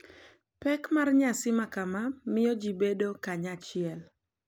Pek mar nyasi makama miyo ji bedo kanyachiel,